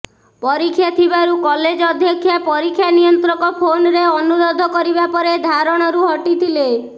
ପରୀକ୍ଷା ଥିବାରୁ କଲେଜ ଅଧ୍ୟକ୍ଷା ପରୀକ୍ଷା ନିୟନ୍ତ୍ରକ ଫୋନରେ ଅନୁରୋଧ କରିବା ପରେ ଧାରଣରୁ ହଟିଥିଲେ